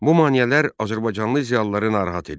Bu maneələr azərbaycanlı ziyalıları narahat edirdi.